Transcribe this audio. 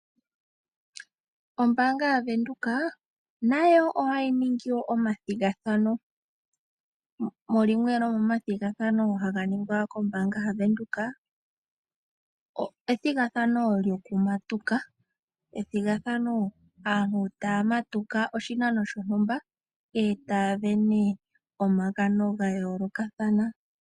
Ombanga yaVenduka nayo ohayi ningi omathigathano yimwe yomathigathano haga ningwa kombaanga yaVenduka ethigatha lyokumatuka aantu taya matuka oshinano shontumba ee taya vene omagano gayoolokathana.